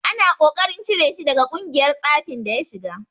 Ana ta ƙoƙarin cire shi daga ƙungiyar tsafin da ya shiga.